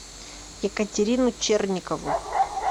екатерину черникову